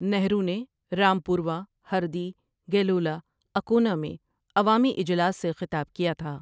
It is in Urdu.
نہرو نے رامپوروہ، ہردی ، گیلولا، اکونا میں عوامی اجلاس سے خطاب کیا تھا ۔